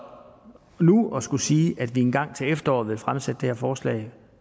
det nu at skulle sige at vi engang til efteråret vil fremsætte det her forslag